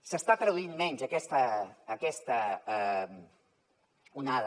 s’està traduint menys aquesta onada